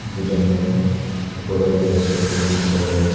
দুইজন মেয়ে উপজাতি বস্ত্র পরিধান করে রয়েছে।